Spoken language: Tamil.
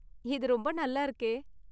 இது ரொம்ப நல்லா இருக்கே!